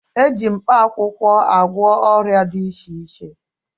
E ji mkpaakwụwkọ agwọ ọrịa dị iche iche